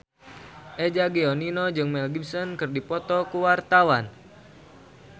Eza Gionino jeung Mel Gibson keur dipoto ku wartawan